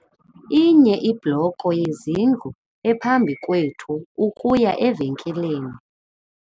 Inye ibloko yezindlu ephambi kwethu ukuya evenkileni.